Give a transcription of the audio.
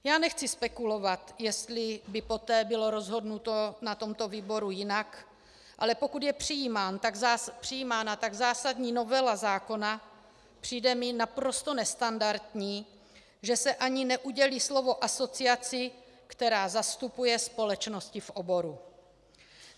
Já nechci spekulovat, jestli by poté bylo rozhodnuto na tomto výboru jinak, ale pokud je přijímána tak zásadní novela zákona, přijde mi naprosto nestandardní, že se ani neudělí slovo asociaci, která zastupuje společnosti v oboru.